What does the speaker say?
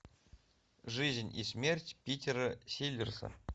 жизнь и смерть питера селлерса